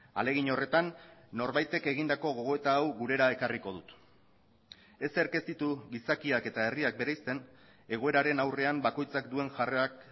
ahalegin horretan norbaitek egindako gogoeta hau gurera ekarriko dut ezerk ez ditu gizakiak eta herriak bereizten egoeraren aurrean bakoitzak duen jarrerak